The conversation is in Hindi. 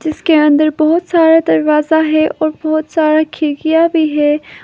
जिसके अंदर बहोत सारा दरवाजा है और बहोत सारा खिड़कियां भी है।